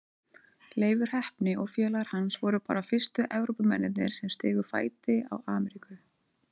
Leifur heppni og félagar hans voru bara fyrstu Evrópumennirnir sem stigu fæti á Ameríku.